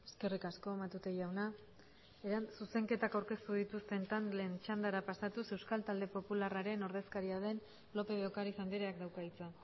eskerrik asko matute jauna zuzenketak aurkeztu dituzten taldeen txandara pasatuz euskal talde popularraren ordezkaria den lópez de ocariz andreak dauka hitza